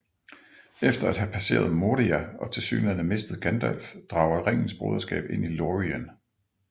Efter at have passeret Moria og tilsyneladende mistet Gandalf drager Ringens Broderskab ind i Lorien